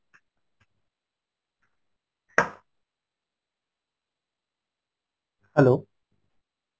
hello